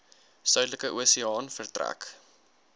suidelike oseaan vertrek